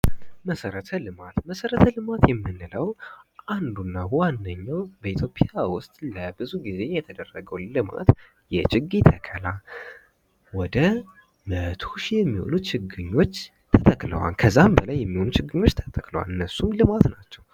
መሰረተ ልማት:- መሰረተ ልማት የምንለዉ አንዱ እና ዋነኛዉ በኢትዮጵያ ዉስጥ ለብዙ ጊዜ የተደረገዉ ልማት የችግኝ ተከላ ወደ 100ሺህ የሚሆኑ ችግኞች ተተክለዋል። ከዚያም በላይ የሚሆኑ ችግኞች ተተክለዋል። እነሱም ልማት ናቸዉ።